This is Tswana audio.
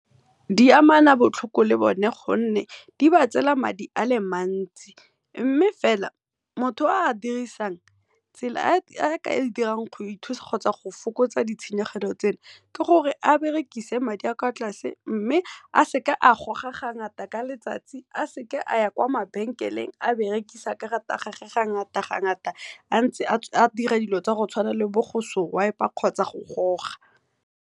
Di amana botlhoko le bone ka gonne di ba tseela madi a le mantsi mme fela motho o a dirisang tsela a ka e dirang gore go ithusa kgotsa go fokotsa ditshenyegelo tse, ke gore a berekise madi a kwa tlase mme a seka a goga ga ngata ka letsatsi, a seka a ya kwa mabenkeleng a berekisa karata ya gage ga ngata-ga ngata, a ntse a dira dilo tsa go tshwana le bo go swiper kgotsa go goga.